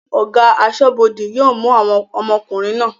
Ọ̀gá aṣọ́bọdè yóò mú àwọn ọmọkùnrin náà